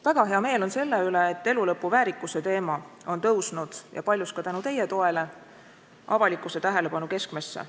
Väga hea meel on selle üle, et elulõpu väärikuse teema on tõusnud – ja paljus ka tänu teie toele – avalikkuse tähelepanu keskmesse.